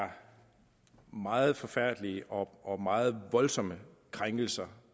er meget forfærdelige og og meget voldsomme krænkelser